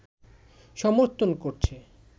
সমর্থন করছে